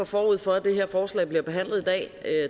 forud for at det her forslag bliver behandlet i dag